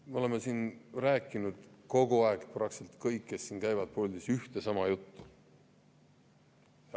Me oleme siin kogu aeg rääkinud – praktiliselt kõik, kes on käinud siin puldis – ühte ja sama juttu.